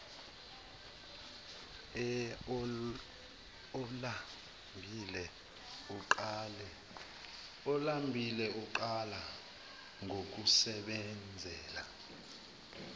olambile uqala ngokusebenzela